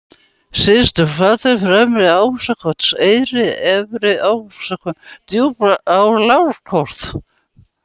Syðstuflatir, Fremri-Ásakotseyri, Efri-Ásakotseyri, Djúpalágarholt